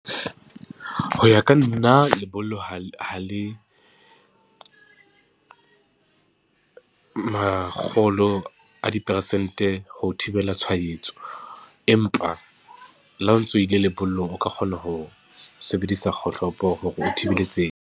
Ho ya ka nna lebollo ha le, ha le makgolo a dipersente ho thibela tshwaetso, empa le ha o ntso ile lebollong, o ka kgona ho sebedisa kgohlopo hore o thibele.